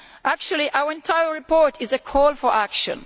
Actually our entire report is a call for action.